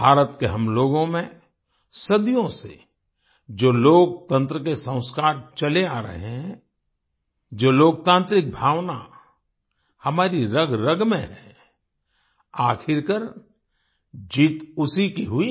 भारत के हम लोगों में सदियों से जो लोकतंत्र के संस्कार चले आ रहे हैं जो लोकतांत्रिक भावना हमारी रगरग में है आखिरकार जीत उसी की हुई